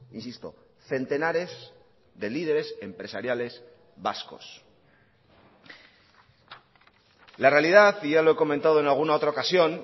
insisto centenares de líderes empresariales vascos la realidad y ya lo he comentado en alguna otra ocasión